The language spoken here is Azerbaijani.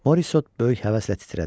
Morisot böyük həvəslə titrədi.